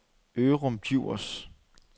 Ørum Djurs